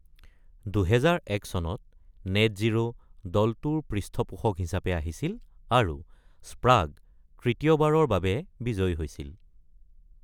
২০০১ চনত নেটজিৰ’ দলটোৰ পৃষ্ঠপোষক হিচাপে আহিছিল আৰু স্প্ৰাগ তৃতীয়বাৰৰ বাবে বিজয়ী হৈছিল।